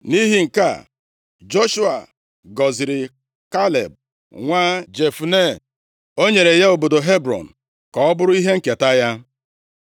Nʼihi nke a, Joshua gọziri Kaleb nwa Jefune. O nyere ya obodo Hebrọn ka ọ bụrụ ihe nketa ya.